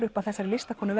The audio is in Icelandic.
upp af þeirri listakonu